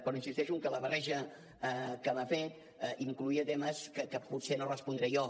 però insisteixo en que la barreja que m’ha fet incloïa temes que potser no respondré jo